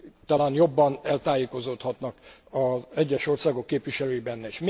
Talán jobban eltájékozódhatnak az egyes országok képviselői benne.